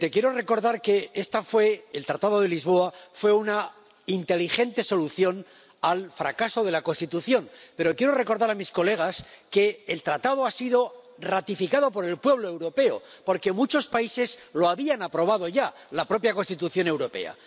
Señor presidente, quiero recordar que el Tratado de Lisboa fue una inteligente solución al fracaso de la Constitución, pero quiero recordar a mis colegas que el Tratado ha sido ratificado por el pueblo europeo, porque muchos países lo habían aprobado ya —la propia Constitución Europea—.